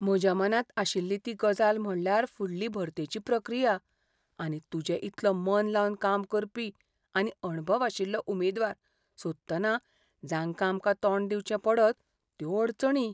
म्हज्या मनांत आशिल्ली ती गजाल म्हळ्यार फुडली भरतेची प्रक्रिया, आनी तुजे इतलो मन लावन काम करपी आनी अणभव आशिल्लो उमेदवार सोदतना जांकां आमकां तोंड दिवचें पडत, त्यो अडचणी.